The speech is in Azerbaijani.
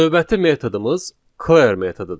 Növbəti metodumuz clear metodudur.